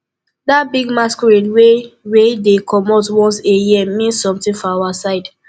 dat big masquerade wey wey dey comot once a year mean something for our side